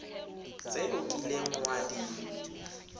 tse o kileng wa di